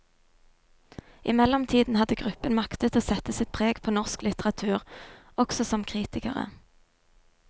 I mellomtiden hadde gruppen maktet å sette sitt preg på norsk litteratur, også som kritikere.